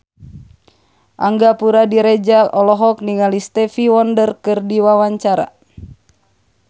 Angga Puradiredja olohok ningali Stevie Wonder keur diwawancara